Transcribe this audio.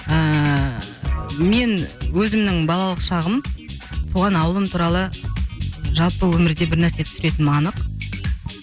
ыыы мен өзімнің балалық шағым туған ауылым туралы жалпы өмірде бірнәрсе түсіретінім анық